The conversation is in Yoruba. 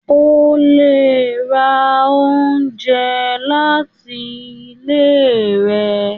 o le rá oúnjẹ lati ile rẹ.